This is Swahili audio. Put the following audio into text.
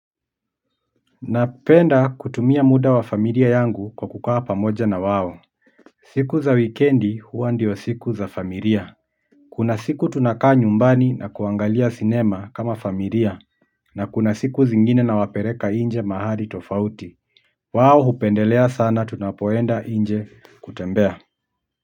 Napenda kutumia muda wa familia yangu kwa kukaa pamoja na wao siku za weekendi huwa ndio siku za familia kuna siku tunakaa nyumbani na kuangalia cinema kama familia na kuna siku zingine nawapereka inje mahali tofauti wao hupendelea sana tunapoenda inje kutembea.